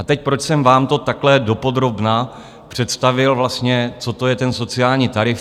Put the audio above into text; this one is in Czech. A teď, proč jsem vám to takhle dopodrobna představil vlastně, co to je ten sociální tarif?